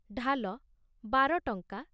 ଢାଲ ବାର ଟଂକା